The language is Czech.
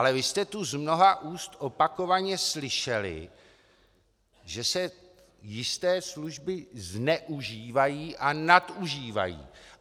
Ale vy jste tu z mnoha úst opakovaně slyšeli, že se jisté služby zneužívají a nadužívají.